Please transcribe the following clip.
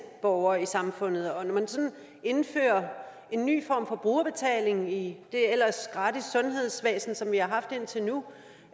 borgere i samfundet og når man sådan indfører en ny form for brugerbetaling i det ellers gratis sundhedsvæsen som vi har haft indtil nu